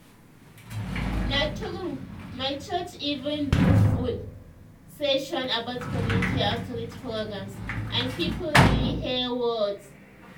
na true—my church even do full session about community outreach programs and people really hear word.